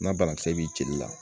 N'a banakisɛ b'i jeli la